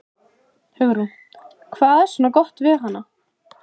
Hugrún: Hvað er svona gott við hana?